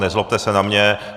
Nezlobte se na mě!